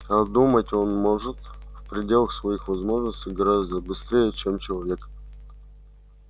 а думать он может в пределах своих возможностей гораздо быстрее чем человек